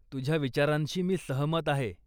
तुझ्या विचारांशी मी सहमत आहे.